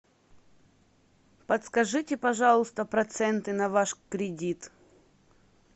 подскажите пожалуйста проценты на ваш кредит